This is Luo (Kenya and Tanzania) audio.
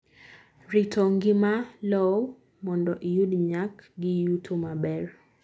Rito ngima lowo mondo iyud nyak gi yuto maber.